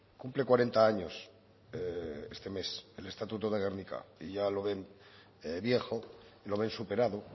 cumple cuarenta años este mes el estatuto de gernika y ya lo ven viejo lo ven superado